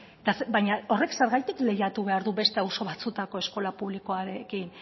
baina horrek zergatik lehiatu behar du beste auzo batzuetako eskola publikoarekin